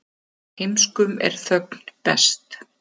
Heimskum er þögn best.